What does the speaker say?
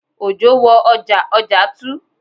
Òjò wo ọjà, ọjà tu